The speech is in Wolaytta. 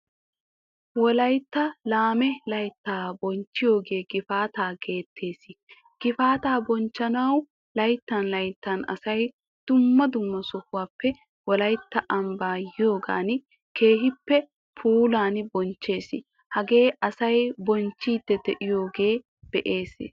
Wolaytti laame laytta bochchiyoge Gifaataa geetetees. Gifaataa bonchchanawu layttan layttan asay dumma dumma sohuwaappe wolaytta ambaa yiyogan keehin puulan bonchchees. Hagee asay bonchchidi deiyoga besees.